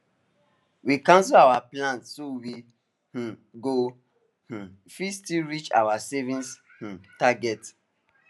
we cancel our plans so we um go um fit still reach our savings um target